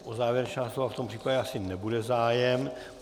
O závěrečná slova v tom případě asi nebude zájem.